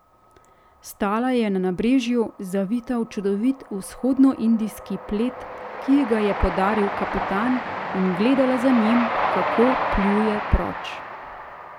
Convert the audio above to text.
Stala je na nabrežju, zavita v čudovit vzhodnoindijski plet, ki ji ga je podaril kapitan, in gledala za njim, kako pluje proč.